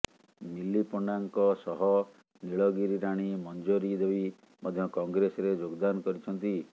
ମିଲି ପଣ୍ଡାଙ୍କ ସହ ନୀଳଗିରି ରାଣୀ ମଞ୍ଜରୀ ଦେବୀ ମଧ୍ୟ କଂଗ୍ରେସରେ ଯୋଗଦାନ କରିଛନ୍ତି